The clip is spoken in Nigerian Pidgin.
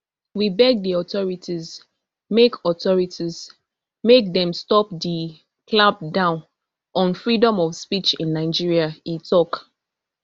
we beg di authorities make authorities make dem stop di clampdown on freedom of speech in nigeria e tok